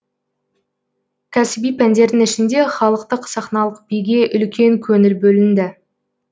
кәсіби пәндердің ішінде халықтық сахналық биге үлкен көңіл бөлінді